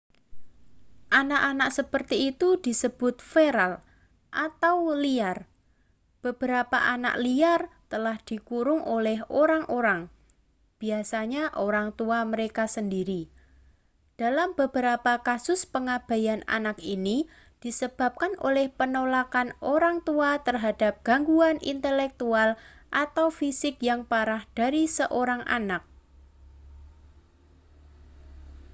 "anak-anak seperti itu disebut feral atau liar. beberapa anak liar telah dikurung oleh orang-orang biasanya orang tua mereka sendiri; dalam beberapa kasus pengabaian anak ini disebabkan oleh penolakan orang tua terhadap gangguan intelektual atau fisik yang parah dari seorang anak.